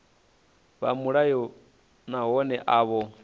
vha mulayoni nahone a vho